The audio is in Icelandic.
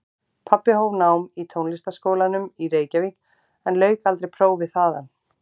Pabbi hóf nám í Tónlistarskólanum í Reykjavík en lauk aldrei prófi þaðan.